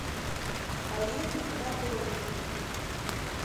полины анатольевны